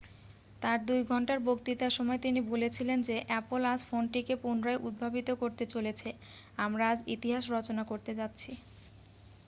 "তার 2 ঘণ্টার বক্তৃতার সময় তিনি বলেছিলেন যে "অ্যাপল আজ ফোনটিকে পুনরায় উদ্ভাবিত করতে চলেছে আমরা আজ ইতিহাস রচনা করতে যাচ্ছি""।